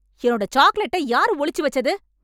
என்னோட சாக்லெட்டை யார் ஒளிச்சு வெச்சது...